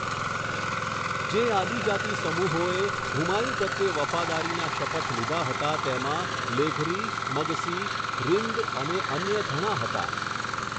જે આદિજાતિ સમૂહોએ હુમાયુ પ્રત્યે વફાદારીના શપથ લીધા હતા તેમાં લેઘરી, મગસી, રિન્દ અને અન્ય ઘણાં હતાં.